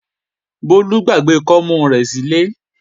Bólú gbàgbé kọ́mú rẹ̀ sílé